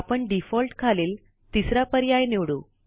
आपण डिफॉल्ट खालील तिसरा पर्याय निवडू